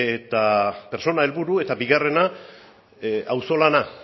pertsona helburu eta bigarrena auzolana